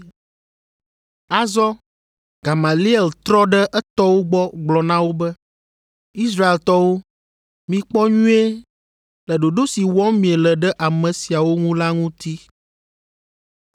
Azɔ Gamaliel trɔ ɖe etɔwo gbɔ gblɔ na wo be, “Israeltɔwo, mikpɔ nyuie le ɖoɖo si wɔm miele ɖe ame siawo ŋu la ŋuti.